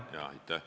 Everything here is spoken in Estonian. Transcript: Aitäh!